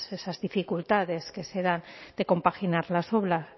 esas dificultades que se dan de compaginar las obras